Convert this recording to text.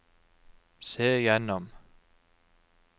se gjennom